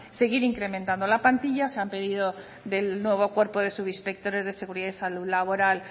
seguir incrementando la plantilla se han pedido del nuevo cuerpo de subinspectores de seguridad y salud laboral